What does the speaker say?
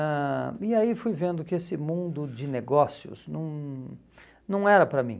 ãh E aí fui vendo que esse mundo de negócios não não era para mim.